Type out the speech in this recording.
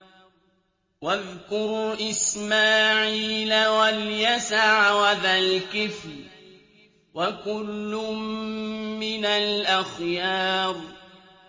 وَاذْكُرْ إِسْمَاعِيلَ وَالْيَسَعَ وَذَا الْكِفْلِ ۖ وَكُلٌّ مِّنَ الْأَخْيَارِ